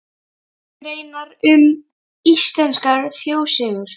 Greinar um íslenskar þjóðsögur.